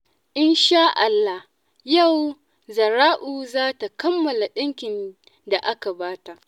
In shaa Allah, yau Zahra'u za ta kammala ɗinkin da aka ba ta.